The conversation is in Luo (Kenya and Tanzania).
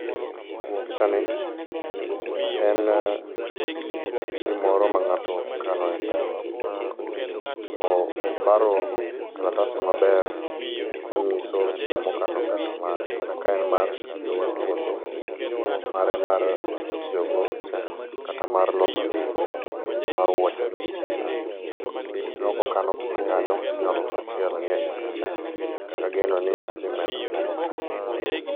Picha ni enn.. gimoro ma ng'ato kano e pesa. Obaro kalatasno maber konyiso gimo kano pesa mare kata ka en mar wuotho, mare mar tiyo go, kata mar loso dende gi mar wuoche be nitie kanyo. Aneno ko kano pesa kanyo siling alufu achiel nie eyi kanyo. Kendo ageno ni odhi medo moko kanyo.